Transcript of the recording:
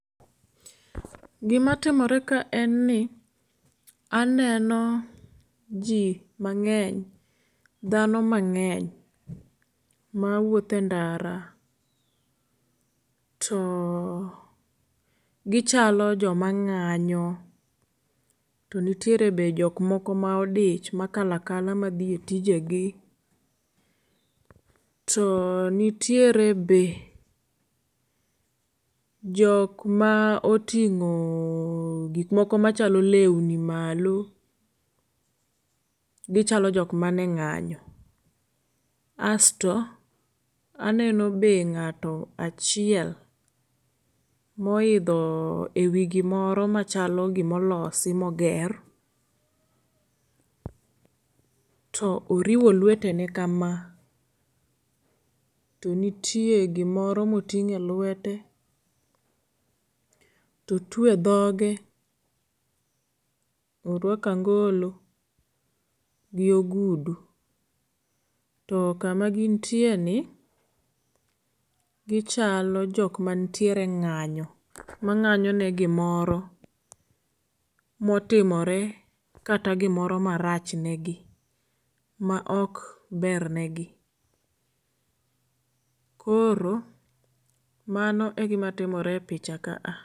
Gi ma timore kae en ni aneno ji mangeny, dhano mangeny ma wuotho e ndara to gi chalo jo ma nganyo to nitiere be jok moko ma odich ma kalo akalao ma dhi e tije gi. To nitiere be jok ma otingo gik moko ma chalo lewni malo gi chalo jok ma ni e nganyo asto be aneno ngat achiel mo oidho e wi gi moro ma chalo gi ma olosi ma oger to oriwo lwete ge kama to nitiere gi moro ma otingo e lwete, otwe dhoge , to orwako angolo gi ogudu. To kama gin tie ni gi chalo jok mantie e nganyo ma nganyo ne gi moro ma otimore kata gi moro ma rach ne gi ma ok ber ne gi. Koro mano e gima timore e picha kaa.